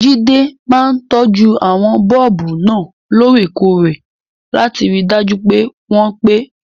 Jide máa ń tọ́jú àwọn bọ́ọ̀bù náà lóòrèkóòrè láti rí i dájú pé wọ́n pẹ́.